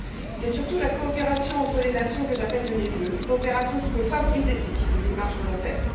C'est surtout la coopération entre les nations, que j'appelle de mes vœux, qui peut favoriser ce type de démarche volontaire.